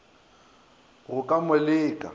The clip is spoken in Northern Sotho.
go ka mo le ka